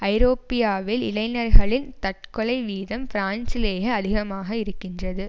ஐரோப்பாவில் இளைஞர்களின் தற்கொலை வீதம் பிரான்சிலேயே அதிகமாக இருக்கின்றது